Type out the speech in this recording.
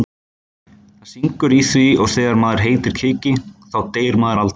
Það syngur í því og þegar maður heitir Kiki þá deyr maður aldrei.